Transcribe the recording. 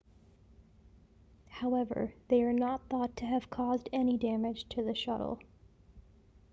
however they are not thought to have caused any damage to the shuttle